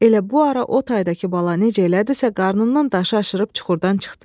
Elə bu ara o taydakı bala necə elədisə qarnından daşı aşırıb çuxurdan çıxdı.